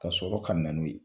Ka sɔrɔ ka na n'u ye.